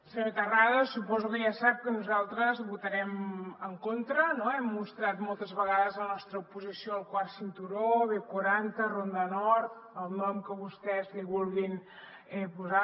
senyor terrades suposo que ja sap que nosaltres hi votarem en contra no hem mostrat moltes vegades la nostra oposició al quart cinturó b quaranta ronda nord el nom que vostès li vulguin posar